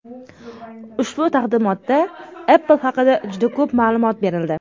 Ushbu taqdimotda Apple haqida juda ko‘p ma’lumot berildi.